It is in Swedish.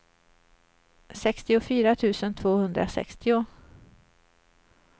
sextiofyra tusen tvåhundrasextio